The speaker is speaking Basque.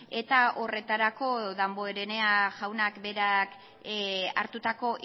eta horretarako damborenea jaunak berak hartutako